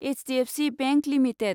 HDFC bank limited